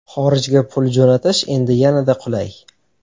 Xorijga pul jo‘natish endi yanada qulay!.